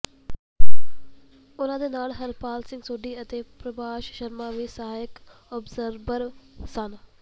ਉਨ੍ਹਾਂ ਦੇ ਨਾਲ ਹਰਪਾਲ ਸਿੰਘ ਸੋਢੀ ਅਤੇ ਪ੍ਰਭਾਸ਼ ਸ਼ਰਮਾ ਵੀ ਸਹਾਇਕ ਅਬਜ਼ਰਬਰ ਸਨ